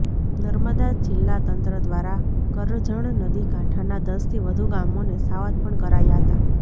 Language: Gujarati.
નર્મદા જિલ્લા તંત્ર દ્વારા કરજણ નદી કાંઠાના દસથી વધુ ગામોને સાવધ પણ કરાયા હતા